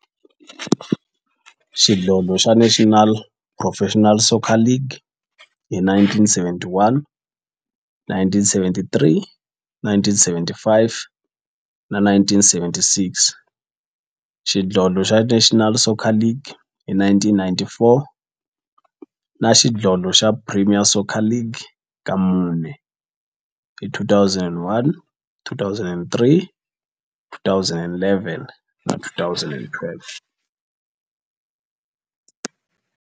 xidlodlo xa National Professional Soccer League hi 1971, 1973, 1975 na 1976, xidlodlo xa National Soccer League hi 1994, na Premier Xidlodlo xa Soccer League ka mune, hi 2001, 2003, 2011 na 2012.